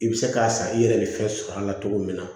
I bɛ se k'a san i yɛrɛ bɛ fɛn sɔrɔ a la cogo min na